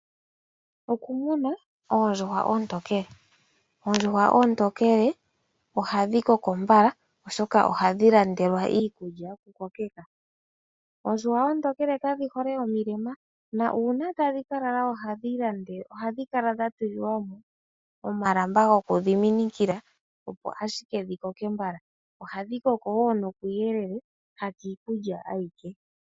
Okumuna oondjuhwa oontokele. Oondjuhwa oontokele ohadhi koko mbala oshoka ohadhi landelwa iikulya yokukokeka. Oondjuhwa oontokele kadhi hole omilema. Na uuna tadhi ka lala ohadhi lande..ohadhi kala dha tulilwa mo omalamba goku dhiminikila opo ashike dhi koke mbala. Ohadhi koko wo nokuuyelele ha kiikulya ayike.